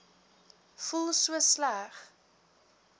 voel so sleg